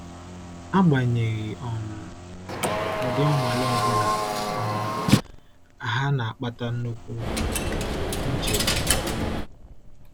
Agbanyeghị um ụdị nnwale ọ bụla, um ha na-akpata nnukwu nchegbu.